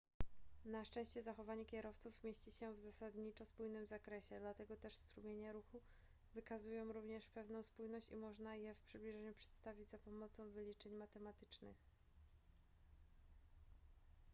na szczęście zachowanie kierowców mieści się w zasadniczo spójnym zakresie dlatego też strumienie ruchu wykazują również pewną spójność i można je w przybliżeniu przedstawić za pomocą wyliczeń matematycznych